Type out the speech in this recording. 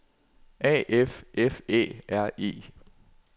A F F Æ R E